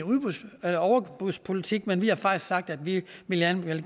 overbudspolitik men vi har faktisk sagt at vi vi gerne vil